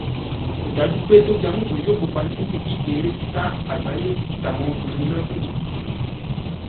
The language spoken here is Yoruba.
kò dájú pé tóbi amusan yóò kópa nínú ìdíje eré sísá àgbáyé táwọn obìnrin lọ́dún yìí